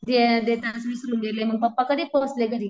ते गेले मग पप्पा कधी पोहचले घरी.